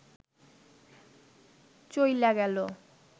চইলা গেল